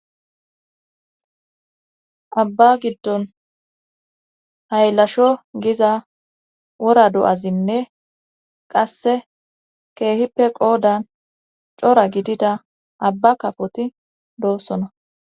abba giddon haylasho giza wora do7azinne qasse keehippe qoodan cora gidida abba kafoti doossona